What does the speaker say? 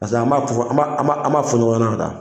Pase an ba fɔ fɔ, an b'a an b'a fɔ ɲɔgɔn ɲɛnɛ ka taa.